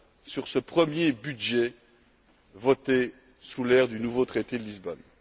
sur ce premier budget voté sous l'ère du nouveau traité de Lisbonne.